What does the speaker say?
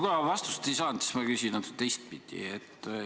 Kuna ma vastust ei saanud, siis küsin natuke teistpidi.